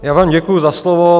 Já vám děkuji za slovo.